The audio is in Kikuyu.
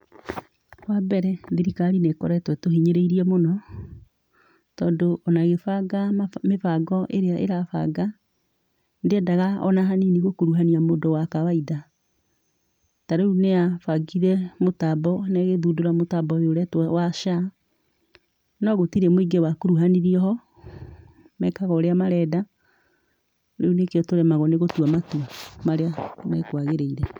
Wambere, thirikari nĩ ĩkoretwo ĩtũhinyĩrĩirie mũno, tondũ ona ĩgĩbanga mĩbango ĩrĩa ĩrabanga, ndĩendaga ona hanini gũkuruhania mũndũ wa kawaida. Tarĩu nĩyabangire mũtambo na ĩgĩthundũra mũtambo ũyũ ũretwo wa SHA, no gũtirĩ mũingĩ wakuruhanirio ho, mekaga ũrĩa marenda, rĩu nĩkĩo tũremagwo nĩgũtua matua marĩa mekwagĩrĩire.